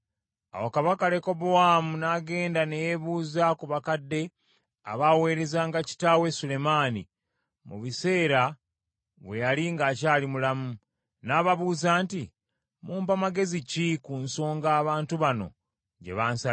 Awo kabaka Lekobowaamu n’agenda ne yeebuuza ku bakadde abaaweerezanga kitaawe Sulemaani, mu biseera bwe yali ng’akyali mulamu. N’ababuuza nti, “Mumpa magezi ki, ku nsonga abantu bano gye bansabye?”